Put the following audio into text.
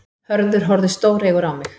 Hörður horfði stóreygur á mig.